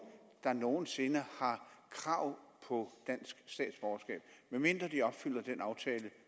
der nogen sinde har krav på dansk statsborgerskab medmindre de opfylder den aftale